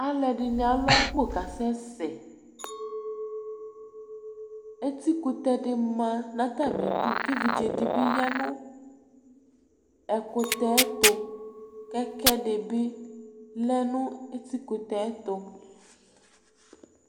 Aluɛdini alu akpo kasɛsɛ eti kutɛ di ma nu atamidu ku evidze dibi ya nu ɛkutɛ tu kɛkɛdibi lɛ nu ɛkutɛ tu